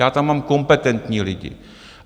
Já tam mám kompetentní lidi.